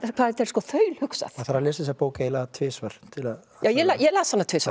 hvað þetta er þaulhugsað maður þarf að lesa þessa bók eiginlega tvisvar ég las hana tvisvar